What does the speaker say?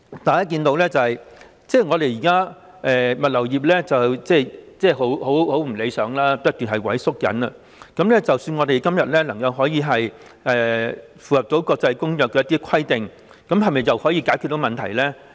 大家看到現時物流業並不理想，市場正不斷萎縮，即使我們今天能夠符合有關的國際公約的規定，又是否可以解決得到問題呢？